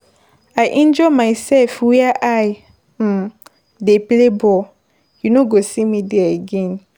I injure myself where I dey play ball. You no go see me there again.